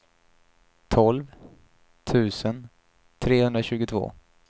tolv tusen trehundratjugotvå